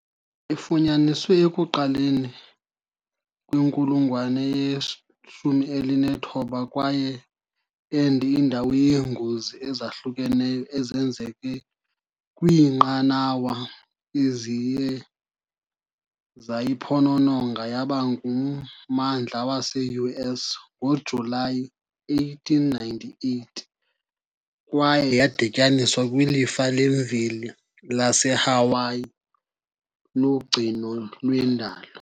Ifunyaniswe ekuqaleni kwenkulungwane ye-19 kwaye ende indawo yeengozi ezahlukeneyo ezenzeke kwiinqanawa eziye zayiphonononga, yaba ngummandla wase-US ngoJulayi 1898 kwaye yadityaniswa kwilifa lemveli laseHawaii logcino lwendalo.